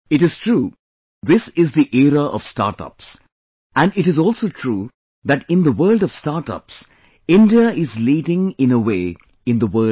It is true, this is the era of startup, and it is also true that in the world of startup, India is leading in a way in the world today